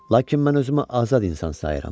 Lakin mən özümü azad insan sayıram.